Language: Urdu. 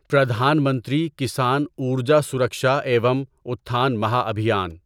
پردھان منتری کسان ارجا سرکشا ایوم اٹھان مہا ابھیان